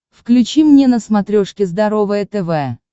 включи мне на смотрешке здоровое тв